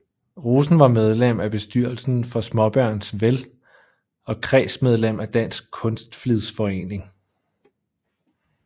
Rosen var medlem af bestyrelsen for Smaabørns Vel og kredsmedlem af Dansk Kunstflidsforening